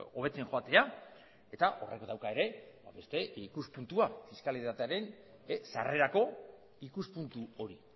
hobetzen joatea eta horrek dauka ere beste ikuspuntua fiskalitatearen sarrerako ikuspuntu hori